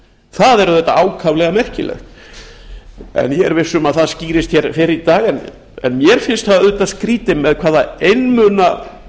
það er auðvitað ákaflega merkilegt ég er viss um að það skýrist hér fyrr í dag en mér finnst það auðvitað skrýtið með hvað einmuna